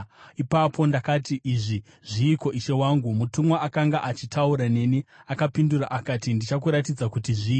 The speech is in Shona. Ipapo ndakati, “Izvi zviiko, ishe wangu?” Mutumwa akanga achitaura neni akapindura akati, “Ndichakuratidza kuti zvii.”